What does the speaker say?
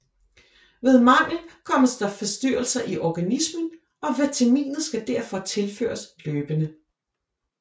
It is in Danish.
Ved mangel kommer der forstyrrelse i organismen og vitaminet skal derfor tilføres løbende